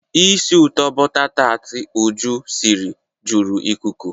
Isi ụtọ bọta taat Uju siri juru ikuku.